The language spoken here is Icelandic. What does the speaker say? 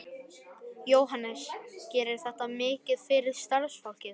Jóhannes: Gerir þetta mikið fyrir starfsfólkið?